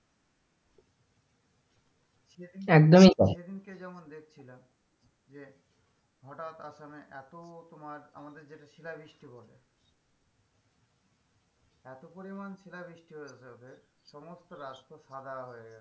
একদমই তাই সে দিনকে যেমন দেখছিলাম যে হঠাৎ আসামে এত তোমার আমাদের যেটা শিলাবৃষ্টি বলে এত পরিমান শিলাবৃষ্টি হয়েছে ওদের সমস্ত রাষ্ট্র সাদা হয়েগেছে।